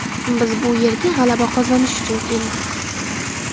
Biz bu yerga g‘alaba qozonish uchun keldik.